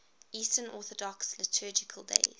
eastern orthodox liturgical days